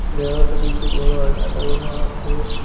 দেওয়ালে দুইটি বড় আয়না লাগানো আছে।